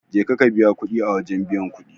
Je ka ka biya kudin a wajen biyan kudi.